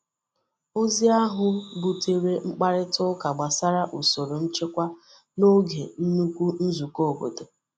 Ozi ahụ butere mkparịta ụka gbasara usoro nchekwa n’oge nnukwu nzukọ obodo.